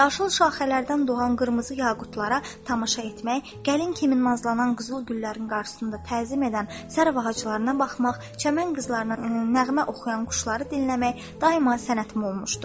Yaşıl şaxələrdən doğan qırmızı yaqutlara tamaşa etmək, gəlin kimi nazlanan qızıl güllərin qarşısında təzim edən sərv ağaclarına baxmaq, çəmən qızlarına nəğmə oxuyan quşları dinləmək daima sənətim olmuşdur.